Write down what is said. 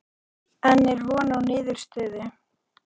En er von á niðurstöðu?